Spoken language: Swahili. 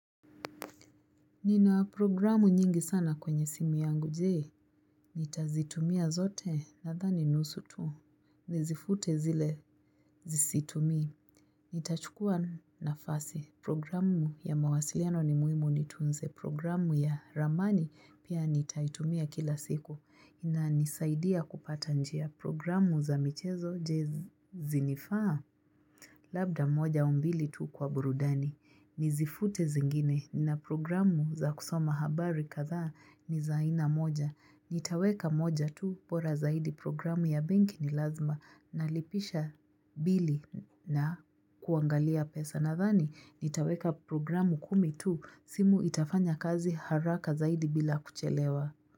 Nina programu nyingi sana kwenye simi yangu je, nitazitumia zote? Nadhani nusu tu, nizifute zile situmi, nitachukua nafasi, programu ya mawasiliano ni muhimu nitunze, programu ya ramani pia nitaitumia kila siku, inanisaidia kupata njia programu za michezo je zinifaa? Labda moja au mbili tu kwa burudani. Nizifute zingine na programu za kusoma habari katha ni zaina moja. Nitaweka moja tu bora zaidi programu ya banki ni lazima. Nalipisha bili na kuangalia pesa. Nadhani nitaweka programu kumi tu simu itafanya kazi haraka zaidi bila kuchelewa.